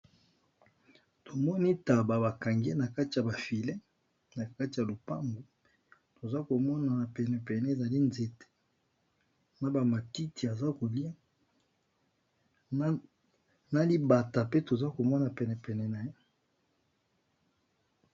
Tomoni tabac bakangi nakati ya lopango tozalikomona penepene ezali nzete na matiti azo koliya na libata tozokomona penepene nayango.